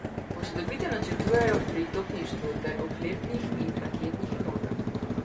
Posodobitev načrtujejo pri topništvu ter oklepnih in raketnih enotah.